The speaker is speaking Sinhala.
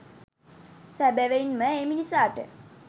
සැබැවින් ම ඒ මිනිසාට